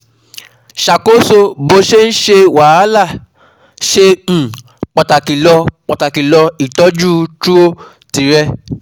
Ṣàkóso bó ṣe ń ṣe wàhálà ṣe um pàtàkì lọ́ pàtàkì lọ́ Ìtọ́jú trọ̀ tìrẹ